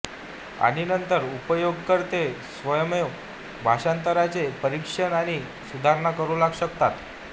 आणि नंतर उपयोगकर्ते स्वयमेव भाषांतरणांचे परीक्षण आणि सुधारणा करू शकतात